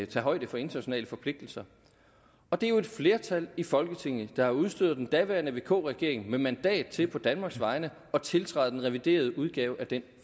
tage højde for internationale forpligtelser det er jo et flertal i folketinget der har udstyret den daværende vk regering med mandat til på danmarks vegne at tiltræde den reviderede udgave af den